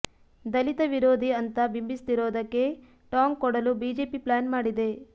ದಲಿತ ವಿರೋಧಿ ಅಂತಾ ಬಿಂಬಿಸ್ತಿರೋದಕ್ಕೆ ಟಾಂಗ್ ಕೊಡಲು ಬಿಜೆಪಿ ಪ್ಲ್ಯಾನ್ ಮಾಡಿದೆ